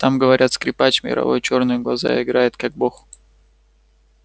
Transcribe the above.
там говорят скрипач мировой чёрные глаза играет как бог